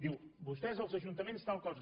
diu vostès els ajuntaments tal cosa